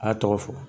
A y'a tɔgɔ fɔ